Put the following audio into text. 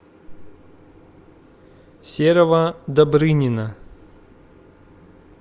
серого добрынина